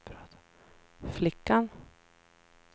flickan